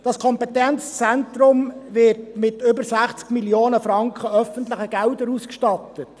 Das Kompetenzzentrum wird mit über 60 Mio. Franken an öffentlichen Geldern ausgestattet.